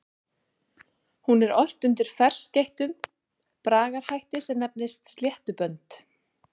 Hún er ort undir ferskeyttum bragarhætti sem nefnist sléttubönd.